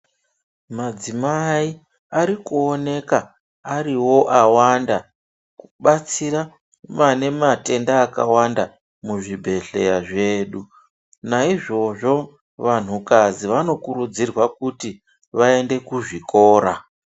Madzimai arikuoneka ariwo awanda kubatsira vane matenda akawanda muzvibhedhlera zvedu. Naizvozvo vanhukadzi vanokurudzirwa kuti vaende kuzvikora.